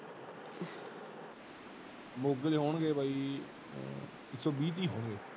ਮੋਗੇ ਦੇ ਹੋਣਗੇ ਬਾਯੀ ਇਕ ਸੋ ਵੀ ਤੀ ਹੋਣਗੇ।